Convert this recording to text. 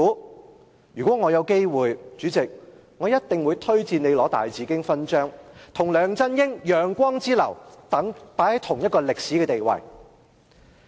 主席，如果我有機會，一定會推薦你去領大紫荊勳章，跟梁振英、楊光之流並列於同一個歷史地位。